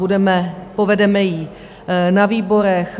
Budeme, povedeme ji na výborech.